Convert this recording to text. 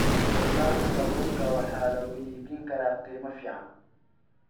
Wax soo saarka kalluunka waxa lagu iibin karaa qiimo fiican.